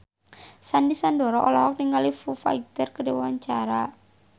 Sandy Sandoro olohok ningali Foo Fighter keur diwawancara